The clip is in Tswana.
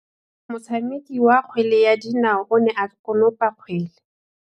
Motshameki wa kgwele ya dinaô o ne a konopa kgwele.